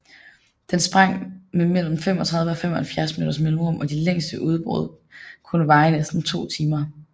Den sprang med mellem 35 og 75 minutters mellemrum og de længste udbrud kunne var i næsten to timer